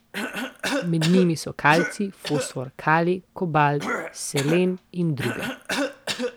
Med njimi so kalcij, fosfor, kalij, kobalt, selen in druge.